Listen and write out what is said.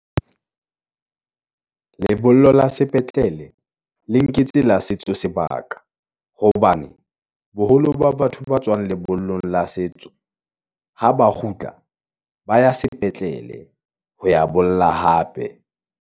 lebollo la sepetlele, le nketse la setso sebaka, hobane boholo ba batho ba tswang lebollong la setso, ha ba kgutla, ba ya sepetlele ho ya bolla hape.